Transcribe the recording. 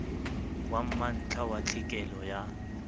wa mantlha wa tlhekelo ya